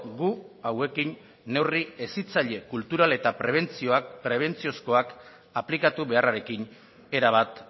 gu hauekin neurri hezitzaile kultural eta prebentziozkoak aplikatu beharrarekin erabat